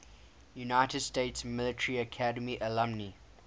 united states military academy alumni